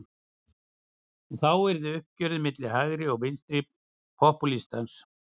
Og þá yrði uppgjörið milli hægri og vinstri popúlistans.